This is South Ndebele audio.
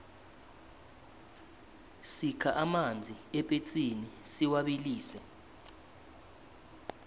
sikha amanzi epetsini siwabilise